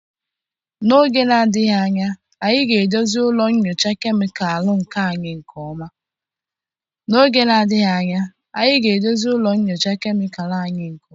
N'oge na-adịghị anya, a ga-edozi ụlọ nyocha kemịkalụ anyị nke ọma.